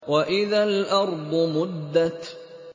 وَإِذَا الْأَرْضُ مُدَّتْ